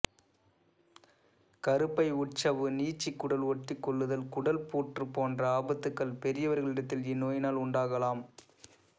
கருப்பை உட்சவ்வு நீட்சி குடல் ஒட்டிக்கொள்ளுதல் குடல் புற்று போன்ற ஆபத்துகள் பெரியவர்களிடத்தில் இந்நோயினால் உண்டாகலாம்